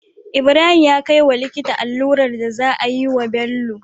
Ibrahim ya kai wa likita allurar da za a yi wa Bello